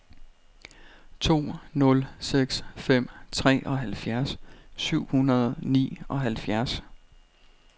to nul seks fem treoghalvfjerds syv hundrede og nioghalvfjerds